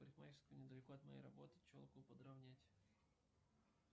парикмахерская недалеко от моей работы челку подравнять